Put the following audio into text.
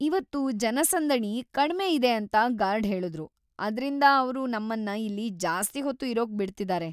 ಇವತ್ತು ಜನಸಂದಣಿ ಕಡ್ಮೆ ಇದೆ ಅಂತ ಗಾರ್ಡ್ ಹೇಳುದ್ರು. ಆದ್ರಿಂದ ಅವ್ರು ನಮ್ಮನ್ನ ಇಲ್ಲಿ ಜಾಸ್ತಿ ಹೊತ್ತು ಇರೋಕ್ ಬಿಡ್ತಿದಾರೆ.